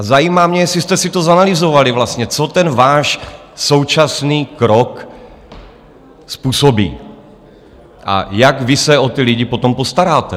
A zajímá mě, jestli jste si to zanalyzovali vlastně, co ten váš současný krok způsobí a jak vy se o ty lidi potom postaráte.